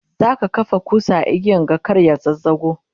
zaka kafa kusa a igiyan ga kar ya zazzago?